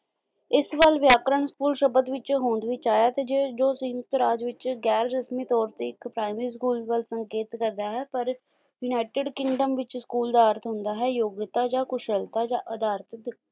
ਇਸ ਵੱਲ ਵਿਆਕਰਨ school ਸ਼ਬਦ ਵਿੱਚ ਹੋਂਦ ਵਿੱਚ ਆਇਆ ਤੇ ਜੇ ਜੋ ਸਿੰਕ ਰਾਜ ਵਿੱਚ ਗੈਰ ਰਸਮੀ ਤੌਰ ਤੇ ਇੱਕ primary school ਵੱਲ ਸੰਕੇਤ ਕਰਦਾ ਹੈ ਪਰ ਯੂਨਾਇਟਡ ਕਿੰਗਡਮ ਵਿੱਚ school ਦਾ ਅਰਥ ਹੁੰਦਾ ਹੈ ਯੋਗਿਅਤਾ ਜਾਂ ਕੁਸ਼ਲਤਾ ਜਾਂ ਅਧਾਰਤਿਕ